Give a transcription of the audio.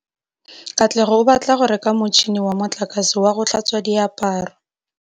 Katlego o batla go reka motšhine wa motlakase wa go tlhatswa diaparo.